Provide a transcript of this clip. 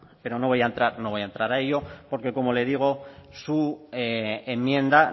pero no voy a entrar a ello porque como le digo su enmienda